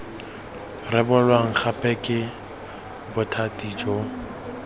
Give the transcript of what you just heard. rebolwa gape ke bothati jo